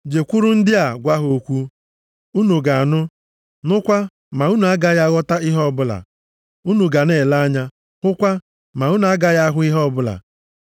“ ‘Jekwuru ndị a gwa ha okwu, “Unu ga na-anụ, nụkwa, ma unu agaghị aghọta ihe ọbụla, unu ga na-ele anya, hụkwa, ma unu agaghị ahụ ihe ọbụla.”